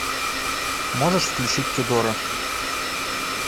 можешь включить тюдоры